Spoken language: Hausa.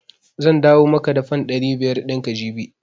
Zan dawo maka da fan ɗari biyar ɗin ka jibi.